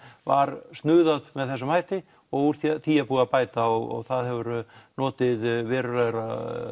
var með þessum hætti og úr því er búið að bæta og það hefur notið verulegrar